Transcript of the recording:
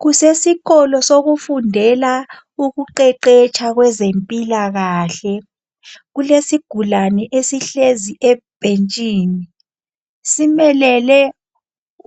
Kusesikolo sokufundela ukuqeqetsha kwezempilakahle. Kulesigulane esihlezi ebhentshini simelele